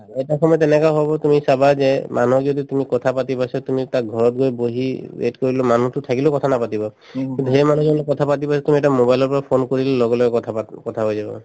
এটা সময়ত এনেকুৱা হব তুমি চাবা যে মানুহক যদি তুমি কথাপাতিব আছে তুমি তাক ঘৰত গৈ বহি wait কৰিলেও মানুহটো থাকিলেও কথা নাপাতিব কিন্তু সেই মানুহজনৰ লগত কথা পাতিব আছে তুমি এটা mobile ৰ পৰা phone কৰিলে লগে লগে কথা পাত‍‍ কথা হৈ যাব